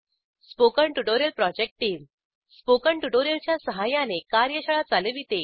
spoken tutorial project team spoken tutorial च्या सहाय्याने कार्यशाळा चालविते